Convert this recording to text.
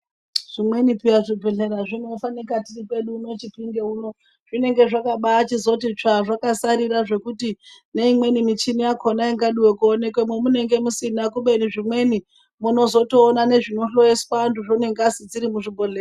Zvimweni peya zvibhedhlera zvinofanika tiri kwedu chipinge uno zvinenge zvakabaa chizoti tsvaa zvakasarira zvokuti neimweni mishini yakona ingadiwe kuonekwemo munenge musina kubeni zvimweni munozotoona nezvinlhloyiswa vantu zvoo nengazi zviri muzvinhodhlera.